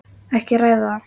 Ekki að ræða það.